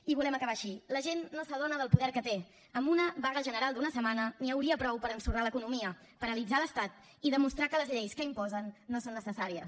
i volem acabar així la gent no s’adona del poder que té amb una vaga general d’una setmana n’hi hauria prou per a ensorrar l’economia paralitzar l’estat i demostrar que les lleis que imposen no són necessàries